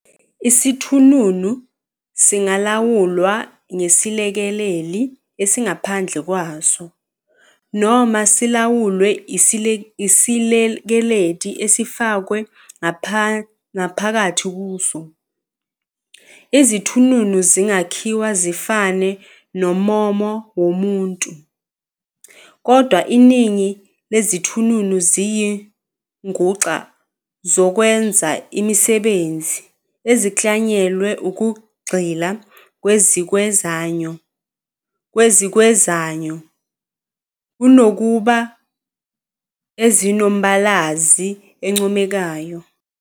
Isithununu singalawulwa ngesiLekeleli esingaphandle kwaso, noma silawulwe isiLekeleli esifakwe ngaphakathi kuso. Izithununu zingakhiwa zifane nommomo womuntu, kodwa iningi lezithununu ziyizinguxa zokwenza imisebenzi, eziklanyelwe ukugxila kwezikwenzayo, kunokuba ezinombalazi oncomekayo.